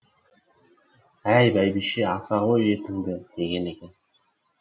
әй бәйбіше аса ғой етіңді деген екен